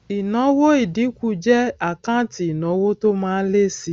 ìnáwó ìdínkù jẹ àkáǹtì ìnáwó tó má ń lé síi